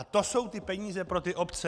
A to jsou ty peníze pro ty obce.